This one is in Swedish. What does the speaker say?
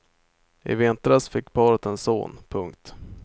I vintras fick paret en son. punkt